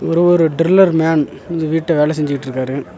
இங்க ஒரு driller man இந்த வீட்ட வேல செஞ்சுட்ருக்காரு.